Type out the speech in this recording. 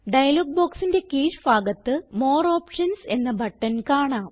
dialogue ബോക്സിന്റെ കീഴ് ഭാഗത്ത് മോർ ഓപ്ഷൻസ് എന്ന ബട്ടൺ കാണാം